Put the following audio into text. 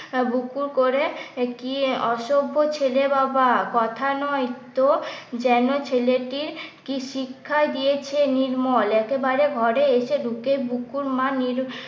বুকু করে কি অসভ্য ছেলে বাবা কথা নয় তো যেনো ছেলেটির কি শিক্ষা দিয়েছে নির্মল একেবারে ঘরে এসে ঢুকে বুকুর মা